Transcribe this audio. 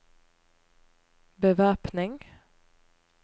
bevæpning